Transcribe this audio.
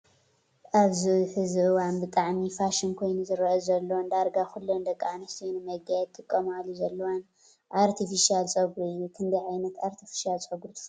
ኣብዚ ሕዚ እዋን ብጣዕሚ ፋሽን ኮይኑ ዝረአ ዘሎን ዳርጋ ኩለን ደቂ ኣንስትዮ ንመጋየፂ ዝጥቀማሉ ዘለዋን ኣርቴፊሻል ፀጉሪ እዩ፡፡ ክንደይ ዓይነት ኣርቴፊሻል ፀጉሪ ትፈልጡ?